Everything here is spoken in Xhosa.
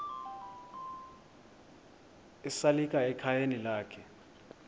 esalika ekhayeni lakhe